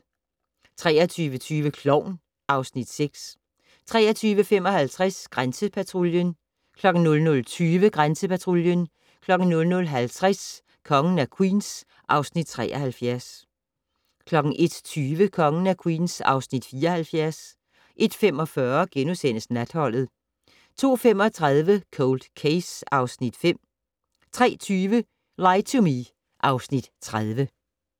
23:20: Klovn (Afs. 6) 23:55: Grænsepatruljen 00:20: Grænsepatruljen 00:50: Kongen af Queens (Afs. 73) 01:20: Kongen af Queens (Afs. 74) 01:45: Natholdet * 02:35: Cold Case (Afs. 5) 03:20: Lie to Me (Afs. 30)